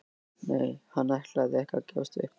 Nei, hann ætlaði ekki að gefast upp.